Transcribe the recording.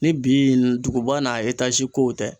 Ni bi duguba n'a kow tɛ